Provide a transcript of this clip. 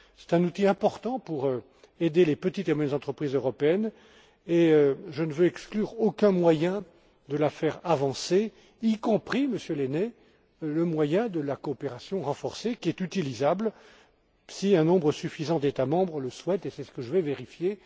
C'est un outil important pour aider les petites et moyennes entreprises européennes et je ne veux exclure aucun moyen de la faire avancer, y compris, Monsieur Lehne, le moyen de la coopération renforcée, qui est utilisable si un nombre suffisant d'États membres le souhaite, et c'est ce que je vais vérifier.